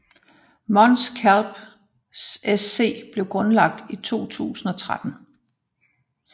Mons Calpe SC blev grundlagt i 2013